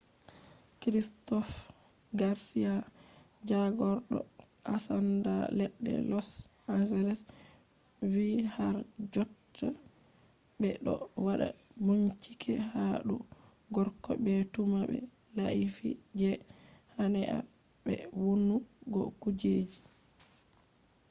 christopher garcia jagordo ensanda ledde los angles vi har jotta be do wada binchike ha dou gorko be tumah be laifi je hanea be vonnu go kujeji